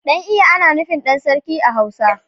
Dan iya ana nufin dan sarki a hausa.